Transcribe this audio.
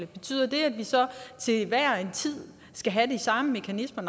betyder det at vi så til hver en tid skal have de samme mekanismer